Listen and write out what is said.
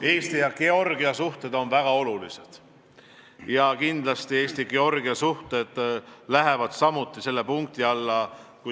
Eesti ja Georgia suhted on väga olulised ja kindlasti Eesti ja Georgia suhted lähevad samuti selle punkti alla.